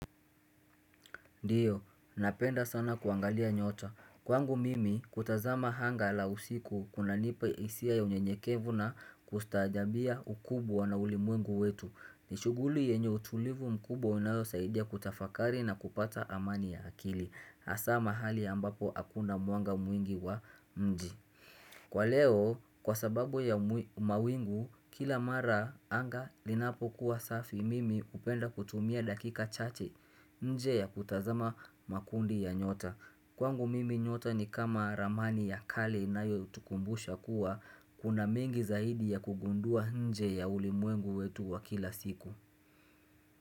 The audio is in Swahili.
Ndiyo, napenda sana kuangalia nyota. Kwangu mimi, kutazama anga la usiku kunanipa hisia ya unyenyekevu na kustajabia ukubwa na ulimwengu wetu. Ni shuguli yenye utulivu mkubwa unaosaidia kutafakari na kupata amani ya akili. Hasaa mahali ambapo hakuna mwanga mwingi wa mji. Kwa leo kwa sababu ya mawingu kila mara anga linapokuwa safi mimi hupenda kutumia dakika chache nje ya kutazama makundi ya nyota Kwangu mimi nyota ni kama ramani ya kale inayotukumbusha kuwa kuna mengi zaidi ya kugundua nje ya ulimwengu wetu wa kila siku.